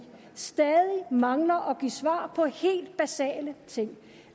stadig mangler at give svar på helt basale ting